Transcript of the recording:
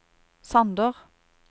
Sander